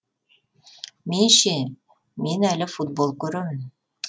мен ше мен әлі футбол көремін